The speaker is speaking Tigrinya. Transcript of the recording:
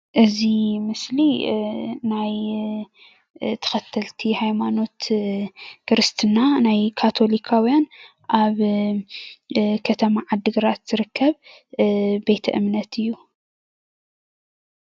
እዚ ምስሊ ናይ ተኸተልቲ ሃይማኖት ክርስትና ናይ ካቴልካዊያን ኣብ ከተማ ዓዲ ግራት ዝርከብ ቤቴ እምነት እዩ።